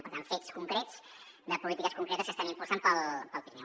per tant fets concrets de polítiques concretes que estem impulsant per al pirineu